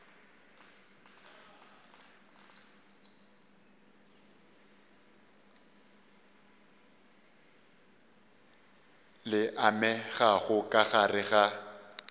le amegago ka gare ga